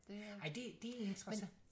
Det øh men